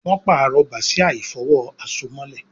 Wón parọ Bàsíà ìfọ̀wo àsomọ́lẹ̀